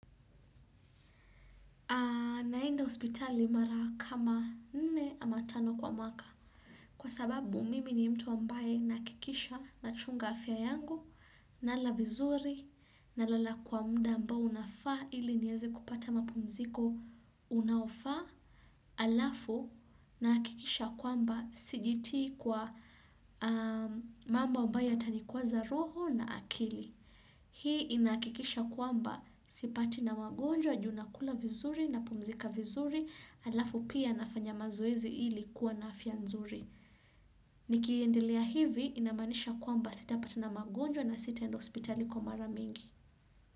Naenda hospitali mara kama nne ama tano kwa mwaka kwa sababu mimi ni mtu ambaye ninahakikisha nachunga afya yangu nala vizuri nalala kwa muda ambao unafaa ili niweze kupata mapumziko unaofaa alafu ninahakikisha kwamba sijitii kwa mambo ambayo yatanikwaza roho na akili. Hii inahakikisha kwamba sipatwi na magonjwa, ju nakula vizuri napumzika vizuri, alafu pia nafanya mazoezi ili kuwa na afya nzuri. Nikiendelea hivi inamaanisha kwamba sitapatwa na magonjwa na sitaenda hospitali kwa mara mingi.